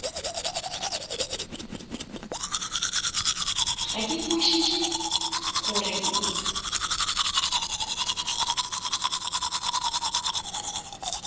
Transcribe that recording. ga ke kwešiše gore o